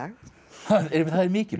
er mikilvægt